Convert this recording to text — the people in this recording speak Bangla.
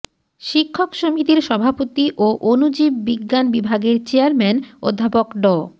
শিক্ষক সমিতির সভাপতি ও অণুজীব বিজ্ঞান বিভাগের চেয়ারম্যান অধ্যাপক ড